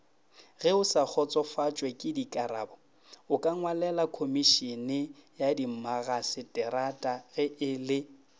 geosakgotsofatšwekekarabo okangwalelakhomišeneyadimmagaseterata ge e le